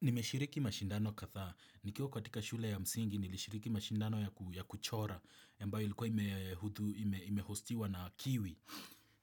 Nimeshiriki mashindano kadhaa. Nikiwa katika shule ya msingi nilishiriki mashindano ya kuchora ambayo ilikuwa imehostiwa na kiwi.